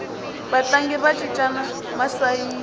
vatlangi va cincana masayiti